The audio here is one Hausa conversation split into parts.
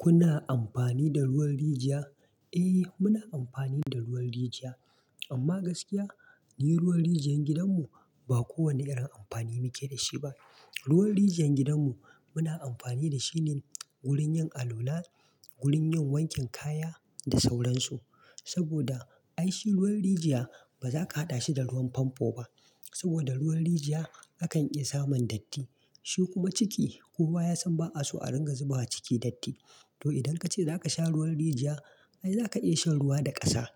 Kuna amfani da ruwan rijiya? Eh muna amfani da ruwan rijiya amma gaskiya ni ruwan rijiyar gidanmu ba kowane irin amfani muke da shi ba. Ruwan rijiyar gidanmu muna amfani da shi ne wurin yin alala, wurin yin wankin kaya da sauransu. Saboda ai shi ruwan rijiya ba za ka haɗa shi da ruwan famfo ba saboda ruwan rijiya akan iya samun datti. Shi kuma ciki ko wa ya san ba a so a ringa zuba ciki datti. To idan ka ce za ka sha ruwan rijiya, ai za ka iya shan ruwa da ƙasa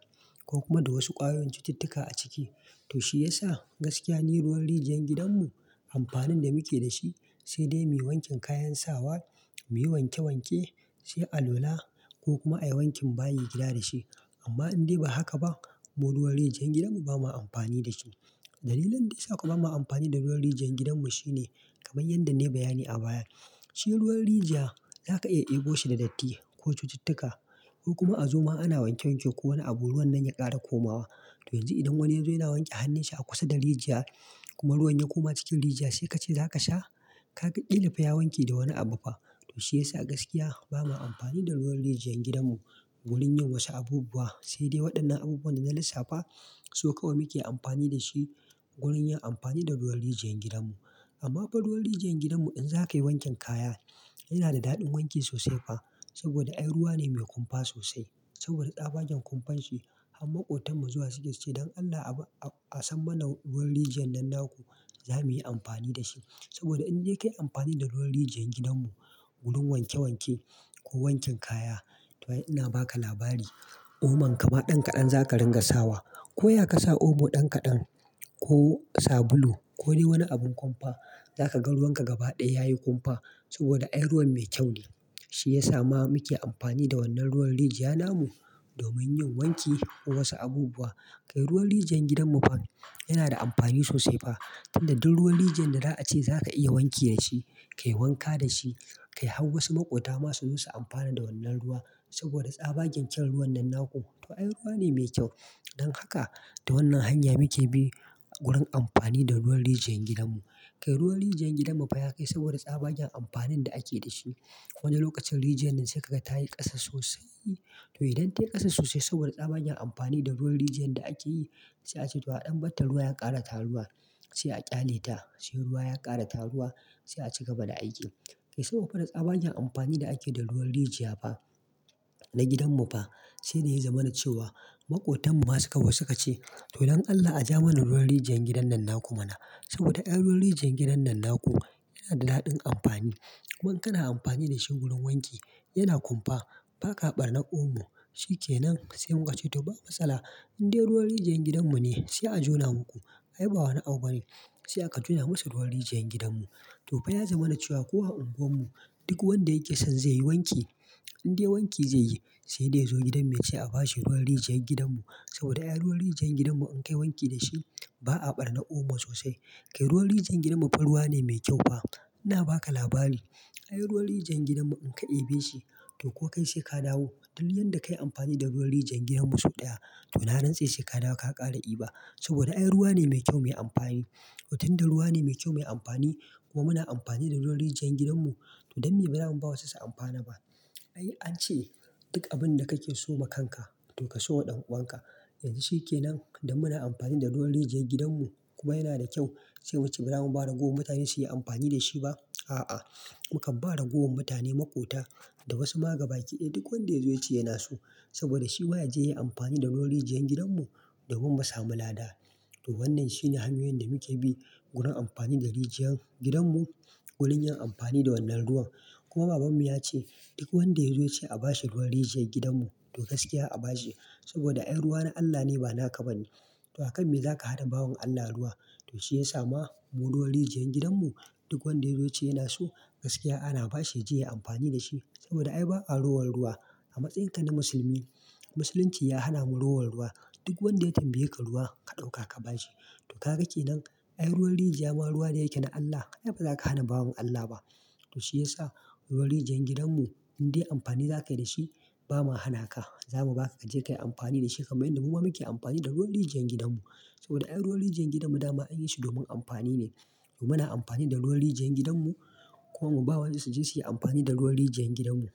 ko kuma da wasu ƙwayoyin cututtuka a ciki. To shi ya sa gaskiya ne ruwan rijiyar gidanmu amfanin da muke da shi sai dai mai wankin kayan sawa, mai wanke wanke, sai alala ko kuma a yi wankin bayi gida da shi. Amma in dai ba haka ba, mu ruwan rijiyar gidanmu ba ma amfani da shi. Dalilin da ya sa kuma ba mu amfani da ruwan rijiyar gidanmu shine kamar yadda na yi bayani a baya, shi ruwan rijiya za ka iya ɗebo shi da datti ko cututtuka ko kuma a zo ma ana wanke wanke ko wani abu ruwan nan ya ƙara komawa. To yanzu idan wani ya zo yana wanke hannunsa a kusa da rijiya kuma ruwan ya koma cikin rijiya sai ka ce za ka sha, ka ga ƙilifa ya wanke da wani abu fa? To shi ya sa gaskiya ba ma amfani da ruwan rijiyar gidanmu wurin yin wasu abubuwa sai dai waɗannan abubuwan da na lissafa, su kawai muke amfani da shi wurin yin amfani da ruwan rijiyar gidanmu. Amma fa ruwan rijiyar gidanmu in za ka yi wankin kaya yana da daɗin wanki sosai fa saboda ai ruwa ne mai kumfa sosai. Saboda tsabagen kumfan shi har maƙotanmu zuwa suke cewa "don Allah a san mana ruwan rijiyar nan naku zamu yi amfani da shi." Saboda in dai ka yi amfani da ruwan rijiyar gidanmu wurin wanke wanke ko wankin kaya, to ina ba ka labari, omo kama ɗan kaɗan za ka ringa sawa. Ko ya ka sa omo ɗan kaɗan ko sabulu ko ne wani abin kumfa, za ka ga ruwanka gaba ɗaya ya yi kumfa saboda ai ruwa mai kyau ne. Shi ya sa ma muke amfani da wannan ruwan rijiya namu domin yin wanki ko wasu abubuwa. Kai ruwan rijiyar gidanmu fa yana da amfani sosai fa. Tunda duk ruwan rijiyar da za ka iya wanki da shi, ka yi wanka da shi, ka yi har wasu maƙota masu zo su amfana da wannan ruwa saboda tsabagen kyau ruwan nan naku. To ai ruwa ne mai kyau. Don haka da wannan hanya muke bi wurin amfani da ruwan rijiyar gidanmu. Kai ruwan rijiyar gidanmu fa ya kai saboda tsabagen amfanin da ake da shi. Wani lokacin rijiyar nan sai kaga ta yi ƙasa sosai. To idan ta yi ƙasa sosai saboda tsabagen amfani da ruwan rijiyar da ake yi sai a ce "to a ɗan banta ruwa ya ƙara taruwa sai a ƙyale ta, sai ruwa ya ƙara taruwa sai a ci gaba da aiki." Kai saboda fa tsabagen amfani da ake da ruwan rijiya fa na gidanmu fa, sai dai ya zama na cewa maƙotanmu masu zo suka ce "to don Allah ajiya mana ruwan rijiyar gidan nan naku mana saboda ai ruwan rijiyar gidan nan naku yana da daɗin amfani." Kuma in kana amfani da shi wurin wanki yana kumfa ba ka ɓarna omo. Shi ke nan sai muka ce "to babu matsala, in dai ruwan rijiyar gidanmu ne sai a jona muku." Ai ba wani abu bane sai aka jona musu ruwan rijiyar gidanmu. To fa ya zama na cewa kowa a unguwarmu duk wanda yake son zai yi wanki in dai wanki zai yi sai dai ya zo gidan mu ya ce a bashi ruwan rijiyar gidanmu saboda ai ruwan rijiyar gidanmu in ka yi wanki da shi ba a ɓarna omo sosai. Kai ruwan rijiyar gidanmu fa ruwa ne mai kyau fa. Ina ba ka labari. Ai ruwan rijiyar gidanmu in ka ɗebe shi to ko kai sai ka dawo. Duk yadda ka yi amfani da ruwan rijiyar gidanmu sau ɗaya to na rantse sai ka dawo ka ƙara ɗiba saboda ai ruwa ne mai kyau mai amfani. Watanda ruwa ne mai kyau mai amfani kuma muna amfani da ruwan rijiyar gidanmu to dan me ba za mu ba su su amfana ba. Ai an ce duk abin da kake so ma kanka to ka so wa ɗan uwan ka. Yanzu shi ke nan da muna amfani da ruwan rijiyar gidanmu kuma yana da kyau sai muce ba za mu ba ragowar mutane su yi amfani da shi ba? A'a, mukan ba ragowar mutane maƙota da wasu magabaki ɗaya duk wanda ya zo ya ce yana so saboda shi ma ya je ya yi amfani da ruwan rijiyar gidanmu domin mu samu lada. To wannan shine hanyoyin da muke bi wurin amfani da rijiyar gidanmu wurin yin amfani da wannan ruwan. Kuma babanmu ya ce duk wanda ya zo ya ce a bashi ruwan rijiyar gidanmu to gaskiya a bashi saboda ai ruwa na Allah ne ba na ka ba ne. To akan me za ka hana bawan Allah ruwa? To shi ya sa mu ruwan rijiyar gidanmu duk wanda ya zo ya ce yana so gaskiya ana bashi ya je ya yi amfani da shi saboda ai ba a rowar ruwa a matsayinka na musulmi. Musulunci ya hana mu rowar ruwa. Duk wanda ya tambaye ka ruwa, ka ɗauka ka ba shi. To ka ga ke nan ai ruwan rijiya ma ruwa ne yake na Allah. Ai ba za ka hana bawan Allah ba. To shi ya sa ruwan rijiyar gidanmu in dai amfani za ka yi da shi ba mu hana ka. Za mu ba ka ka je ka yi amfani da shi kamar yadda mu ma muke amfani da ruwan rijiyar gidanmu. Saboda ai ruwan rijiyar gidanmu dama an yi shi domin amfani ne. Mu mana amfani da ruwan rijiyar gidanmu kuma mu ba wasu su je su yi amfani da ruwan rijiyar gidanmu.